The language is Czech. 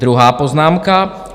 Druhá poznámka.